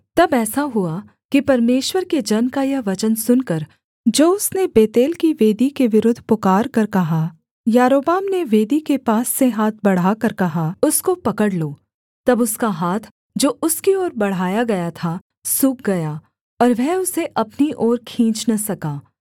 तब ऐसा हुआ कि परमेश्वर के जन का यह वचन सुनकर जो उसने बेतेल की वेदी के विरुद्ध पुकारकर कहा यारोबाम ने वेदी के पास से हाथ बढ़ाकर कहा उसको पकड़ लो तब उसका हाथ जो उसकी ओर बढ़ाया गया था सूख गया और वह उसे अपनी ओर खींच न सका